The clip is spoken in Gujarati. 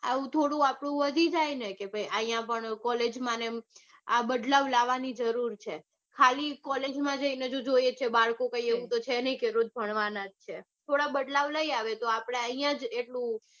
આવું થોડું આપણું વધી જાય ને કે ભાઈ આઇયા college માં આ બદલાવ લેવાની જરૂર છે ખાલી college માં જઈને તો જોઈએ જ છીએ બાળકો તો કાંઈ એવું છે નઈ કે બાળકો રોજ ભણવાના છે